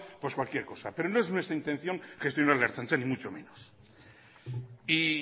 pues cualquier cosa pero no es nuestra intención gestionar la ertzaintza ni mucho menos y